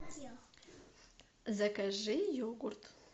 закажи йогурт